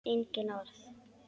Engin orð.